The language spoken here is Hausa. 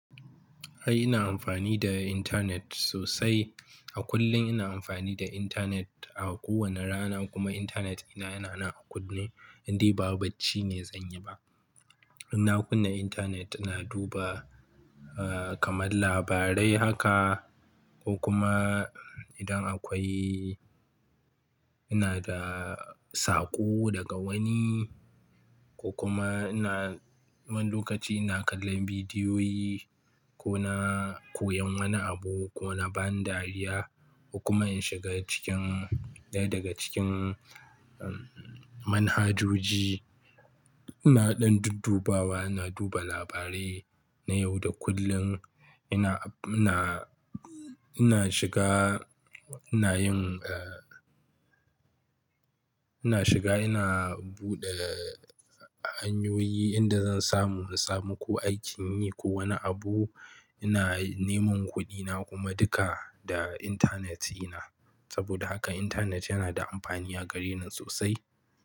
Ai ina amfani da internet sosai. A kullum ina amfani da internet a kowane rana kuma internet ina yana nan a kunne indai ba bacci ne zan yi ba. Ina kunna internet ina duba, ah, kamar labarai haka ko kuma idan akwai ina da saƙo daga wani ko kuma ina, wani lokaci ina kallon bidiyoyi ko na koyan wani abu ko na ba ni dariya ko kuma in shiga cikin, daya daga cikin, umm, manhajoji. Ina ɗan duddubawa ina duba labarai na yau da kullum. Ina, ina, ina shiga ina yin, ah, ina shiga ina buɗe, ah, hanyoyi inda zan samu, samu ko aikin yi ko wani abu. Ina neman kuɗina kuma duka da internet ina. Saboda haka internet yana da amfani a gare ni sosai.